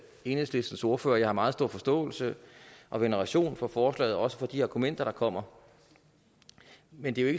enhedslistens ordfører jeg har meget stor forståelse og veneration for forslaget og også for de argumenter der kommer men det er